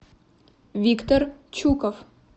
виктор чуков